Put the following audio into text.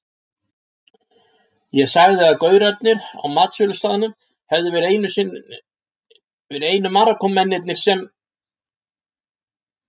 Ég sagði að gaurarnir á matsölustaðnum hefðu verið einu Marokkómennirnir sem